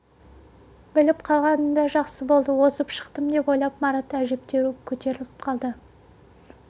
біліп қалғаны да жақсы болды озып шықтым деп ойлап марат әжептеуір көтеріліп қалды